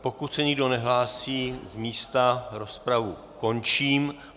Pokud se nikdo nehlásí z místa, rozpravu končím.